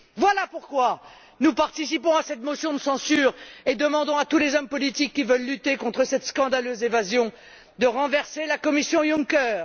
Voilà pourquoi nous participons à cette motion de censure et demandons à tous les hommes politiques qui veulent lutter contre cette scandaleuse évasion de renverser la commission Juncker.